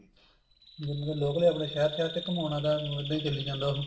ਜਿੰਨੇ ਤਾਂ local ਈ ਆਪਣੇ ਸ਼ਹਿਰ ਸ਼ਹਿਰ ਚ ਘੁਮਾਉਣਾ ਤਾਂ ਇੱਦਾਂ ਹੀ ਚੱਲੀ ਜਾਂਦਾ ਉਹ